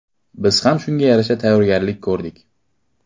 Biz ham shunga yarasha tayyorgarlik ko‘rdik.